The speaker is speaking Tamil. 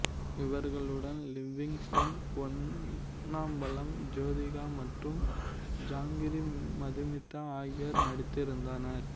இவர்களுடன் லிவிங்ஸ்டன் பொன்னம்பலம் ஜோசிகா மற்றும் ஜாங்கிரி மதுமிதா ஆகியோர் நடித்திருந்தனர்